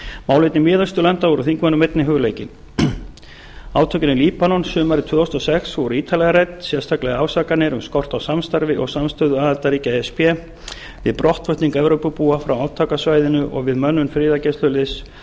málefni miðausturlanda voru þingmönnum einnig hugleikin átök í líbanon sumarið tvö þúsund og sex voru ítarlega rædd sérstaklega ásakanir um skort á samstarfi og samstöðu aðildarríkja e s b við brottflutning evrópubúa frá átakasvæðinu og við mönnun friðargæsluliðs